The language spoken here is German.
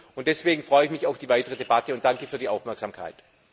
Und deswegen freue ich mich auf die weitere Debatte und danke für die Aufmerksamkeit.